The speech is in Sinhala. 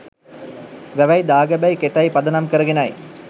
වැවයි, දාගැබයි, කෙතයි, පදනම් කරගෙනයි.